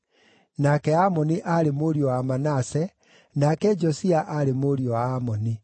nake Amoni aarĩ mũriũ wa Manase, nake Josia aarĩ mũriũ wa Amoni.